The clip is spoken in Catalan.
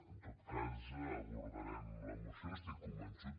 en tot cas abordarem la moció n’estic convençut